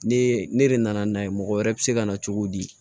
Ne ne de nana n'a ye mɔgɔ wɛrɛ bɛ se ka na cogo di